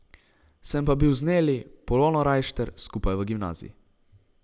Sem pa bil z Neli, Polono Rajšter, skupaj v gimnaziji.